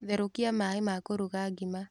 Therũkia maĩma kũruga ngima.